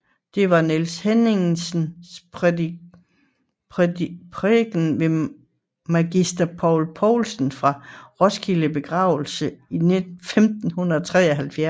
Det var Niels Hemmingsens prædiken ved magister Peder Pouelsen fra Roskildes begravelse i 1573